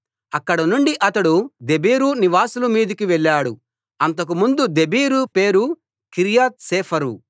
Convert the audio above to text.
అక్కడనుండి అతడు దెబీరు నివాసుల మీదికి వెళ్ళాడు అంతకుముందు దెబీరు పేరు కిర్యత్ సేఫరు